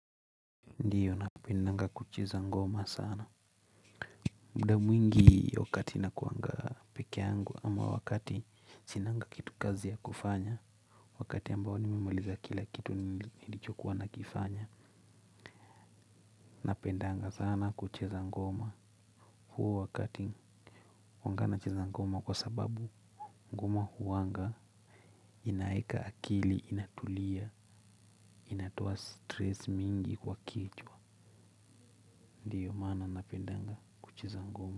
Ndiyo napendaga kucheza ngoma sana. Muda mwingi wakati nakuaga peke yangu ama wakati sinaga kitu kazi ya kufanya. Wakati ambao nimemaliza kila kitu nilichokuwa nakifanya. Napendaga sana kucheza ngoma. Huo wakati huwaga nacheza ngoma kwa sababu ngoma huaga inaweka akili inatulia, inatoa stress nyingi kwa kichwa. Ndiyo maana napendaga kucheza ngoma.